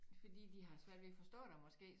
Fordi de har svært ved at forstå dig måske